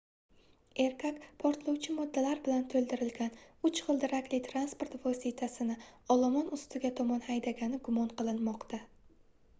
erkak portlovchi moddalar bilantoʻldirilgan uch gʻildirakli transport vositasini olomon ustiga tomon haydagani gumon qilinmoqda